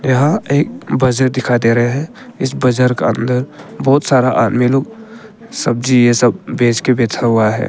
यहां एक बजार दिखा दे रहे है इस बाजार का अंदर बहुत सारा आदमी लोग सब्जी ये सब बेंच के बैठा हुआ है।